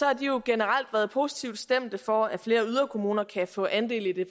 har de jo generelt været positivt stemte for at flere yderkommuner kan få andel i det